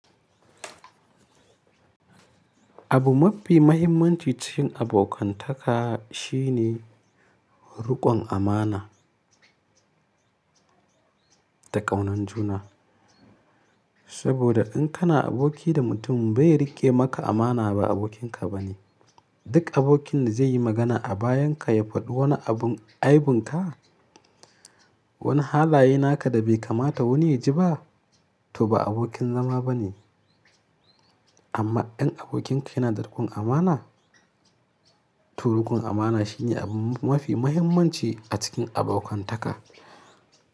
Abu mafi muhimmanci cikin abokantaka shine riƙon amana da ƙaunan juna. Saboda in kana aboki da mutum bai riƙe maka amana ba abokin ka ba ne. Duk abokin da zai yi magana a bayan ka ya faɗi wani abun aibinka, wani halaye naka da bai kamata wani ya ji ba, to ba abokin zama ba ne. Amma in abokin ka yana da riƙon amana, to riƙon amana shi ne abu mafi muhimmanci a cikin abokantaka.